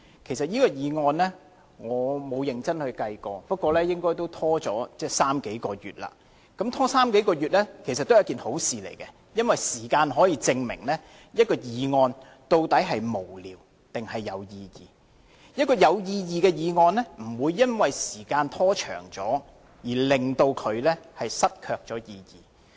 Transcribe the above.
就這項譴責議案，我沒有認真計算過，不過也拖延了三數個月，而拖延了三數個月也是好事，因為時間可以證明一項議案究竟是否無聊，還是有意義？有意義的議案不會因為時間被拖長而失卻意義。